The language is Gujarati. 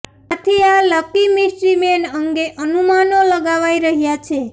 આથી આ લકી મિસ્ટ્રી મેન અંગે અનુમાનો લગાવાઇ રહ્યાં છે